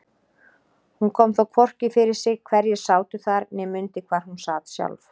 Hún kom þó hvorki fyrir sig hverjir sátu þar né mundi hvar hún sat sjálf.